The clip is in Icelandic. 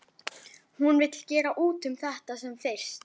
Hún vill gera út um þetta sem fyrst.